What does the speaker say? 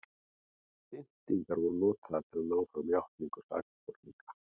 pyntingar voru notaðar til að ná fram játningum sakborninga